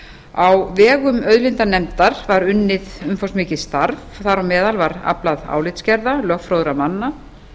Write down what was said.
á vegum auðlindanefndar var unnið umfangsmikið starf þar á meðal var aflað álitsgerða lögfróðra manna